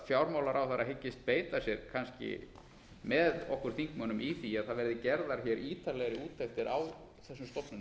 fjármálaráðherra hyggist beita sér kannski með okkur þingmönnum í því að það verði gerðar hér ítarlegri úttektir á þessum stofnunum